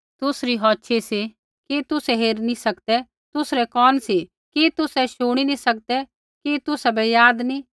तुसरी औछ़ी सी कि तुसै हेरी नी सकदै तुसरै कोन सी कि तुसै शुणी नी सकदै कि तुसाबै याद नी